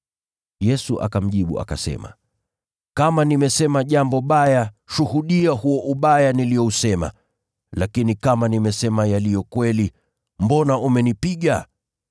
Yesu akamjibu akasema, “Kama nimesema jambo baya, shuhudia huo ubaya niliousema. Lakini kama nimesema yaliyo kweli, mbona umenipiga?”